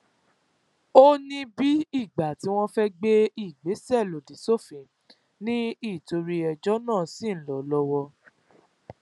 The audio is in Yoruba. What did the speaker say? ó ní bíi ìgbà tí wọn fẹẹ gbé ìgbésẹ lòdì sófin ni nítorí ẹjọ náà ṣì ń lọ lọwọ